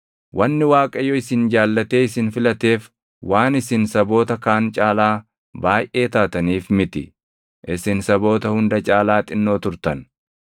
Wanni Waaqayyo isin jaallatee isin filateef waan isin saboota kaan caalaa baayʼee taataniif miti; isin saboota hunda caalaa xinnoo turtan.